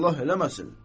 Allah eləməsin.